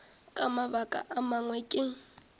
ka mabaka a mangwe ke